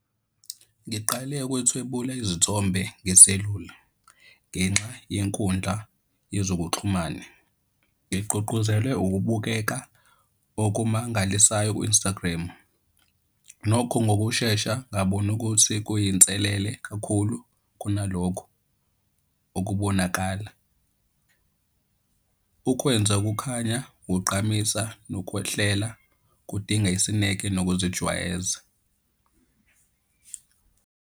Ngiqale ukwethwebula izithombe ngeselula ngenxa yenkundla yezokuxhumana. Ngigqugquzelwe ukubukeka okumangalisayo ku-Instagram. Nokho ngokushesha ngabona ukuthi kuyinselele kakhulu kunalokho okubonakala. Ukwenza kukhanya kugqamisa nokwehlela kudinga isineke nokuzijwayeza.